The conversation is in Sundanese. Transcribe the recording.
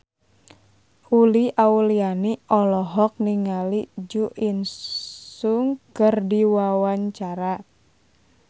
Uli Auliani olohok ningali Jo In Sung keur diwawancara